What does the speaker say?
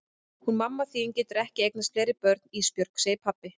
Hún mamma þín getur ekki eignast fleiri börn Ísbjörg, segir pabbi.